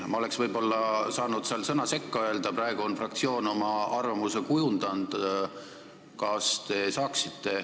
Ma oleksin võib-olla saanud seal sõna sekka öelda, aga praegu on fraktsioon oma arvamuse kujundanud.